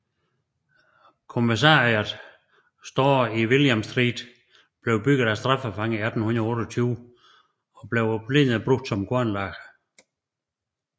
Commissariat Store i William Street blev bygget af straffefanger i 1828 og blev oprindeligt brugt som kornlager